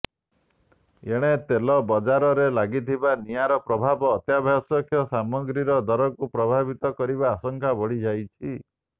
ଏଣେ ତେଲ ବଜାରରେ ଲାଗିଥିବା ନିଆଁର ପ୍ରଭାବ ଅତ୍ୟାବଶ୍ୟକ ସାମଗ୍ରୀର ଦରକୁ ପ୍ରଭାବିତ କରିବା ଆଶଙ୍କା ବଢିଯାଇଛି